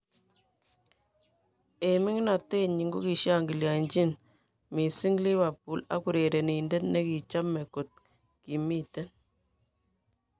En ming'inotenyin kokishangilianjin missing Liverpool ak urerenindet nekichame kot kimiten